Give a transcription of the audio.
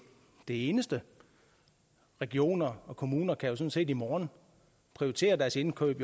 eneste regioner og kommuner kan sådan set i morgen prioritere deres indkøb